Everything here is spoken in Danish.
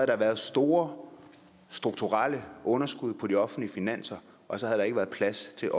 der været store strukturelle underskud på de offentlige finanser og der havde ikke været plads til